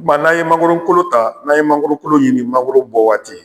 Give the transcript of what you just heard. Tuma n'an ye mangoron kolo ta n'an ye mangolo kolo ɲini mangoro bɔ waati